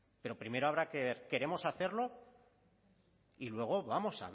pero primero habrá que ver queremos hacerlo y luego vamos